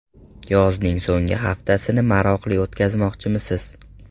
Yozning so‘nggi haftasini maroqli o‘tkazmoqchimisiz?